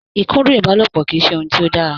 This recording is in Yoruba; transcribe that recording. Ìkúndù ìbálòpọ̀ kì í ṣe ohun tí ó dára.